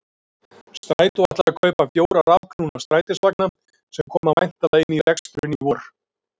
Strætó ætlar að kaupa fjóra rafknúna strætisvagna sem koma væntanlega inn í reksturinn í vor.